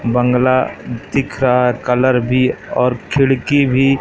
बंगला दिख रहा है कलर भी और खिड़की भी--